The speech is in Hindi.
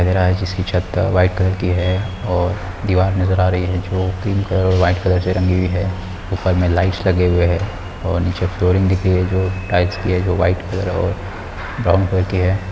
लग रहा है जिसकी छत व्हाइट कलर की है और दीवार नजर आ रही है जो क्रीम कलर और व्हाइट कलर से रंगी हुई है ऊपर मे लाइट्स लगे हुए है और नीचे फ्लोरिंग दिख रही है जो टाइल्स की है जो व्हाइट कलर और ब्राउन कलर की है।